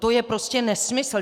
To je prostě nesmysl.